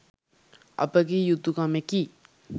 අපගේ යුතුකමෙකි.